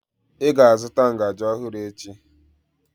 Ị ga-azụta ngaji ọhụrụ echi!